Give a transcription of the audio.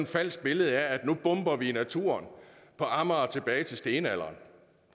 falsk billede af at nu bomber vi naturen på amager tilbage til stenalderen